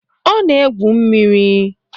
Ọ na-egwu mmiri